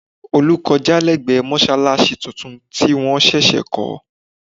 Olú kọjá lẹ́gbẹ̀ẹ́ mọ́ṣáláṣí tuntun tí wọ́n ṣẹ̀ṣẹ̀ kọ́